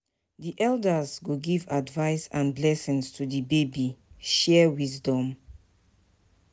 Di elders go give advice and blessings to di baby, share wisdom.